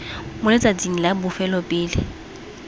mo letsatsing la bofelo pele